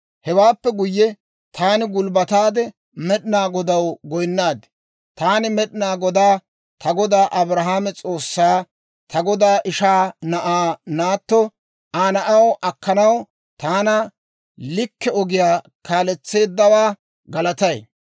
Hewaappe guyye taani gulbbataade, Med'inaa Godaw goynnaad; taani Med'inaa Godaa, ta godaa Abrahaame S'oossaa, ta godaa ishaa na'aa naatto Aa na'aw akkanaw taana likke ogiyaa kaaletseeddawaa galatay.